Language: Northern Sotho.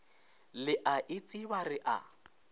le a itseba re a